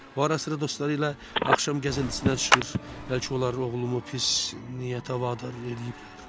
O ara-sıra dostları ilə axşam gəzintisinə çıxır, bəlkə onların oğlumu pis niyyətə vadar eləyiblər?